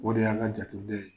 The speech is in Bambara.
O de y'an ka jate den ye.